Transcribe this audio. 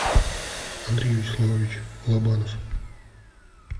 андрей вячеславович лобанов